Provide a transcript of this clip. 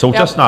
Současná...